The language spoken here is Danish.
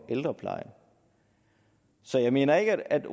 ældrepleje så jeg mener ikke at